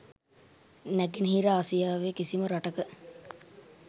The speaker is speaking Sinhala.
නෑගෙනහිර ආසියාවේ කිසිම රටක